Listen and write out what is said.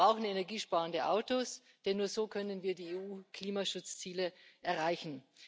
Wir brauchen energiesparende Autos, denn nur so können wir die EU Klimaschutzziele erreichen.